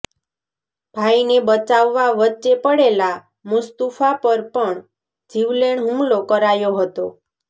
ભાઇને બચાવવા વચ્ચે પડેલા મુસ્તુફા પર પણ જીવેલેણ હુમલો કરાયો હતો